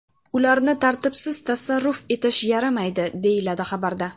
Ularni tartibsiz tasarruf etish yaramaydi” deyiladi xabarda.